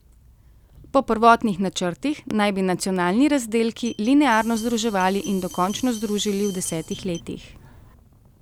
Po prvotnih načrtih naj bi nacionalni razdelki linearno združevali in dokončno združili v desetih letih.